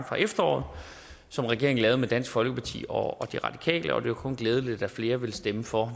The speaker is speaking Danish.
fra efteråret som regeringen lavede med dansk folkeparti og de radikale og det er jo kun glædeligt at flere vil stemme for